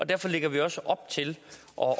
derfor lægger vi også op til